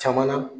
Caman na